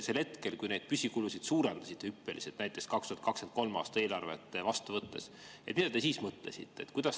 Sel hetkel, kui neid püsikulusid suurendasite hüppeliselt, näiteks 2023. aasta eelarvet vastu võttes, mida te siis mõtlesite?